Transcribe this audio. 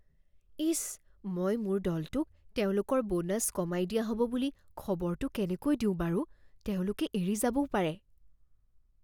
ইচ.. মই মোৰ দলটোক তেওঁলোকৰ বোনাছ কমাই দিয়া হ'ব বুলি খবৰটো কেনেকৈ দিওঁ বাৰু? তেওঁলোকে এৰি যাবও পাৰে।